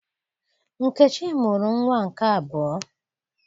Nkechi mụrụ nnwa nke abụọ